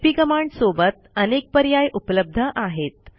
CP command सोबत अनेक पर्याय उपलब्ध आहेत